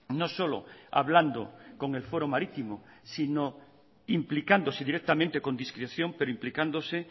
no solo hablando con el foro marítimo sino implicándose directamente con discreción pero implicándose